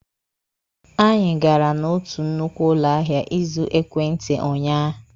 Anyị gara n'otu nnukwu ụlọ ahịa ịzụ ekwentị unyaahụ.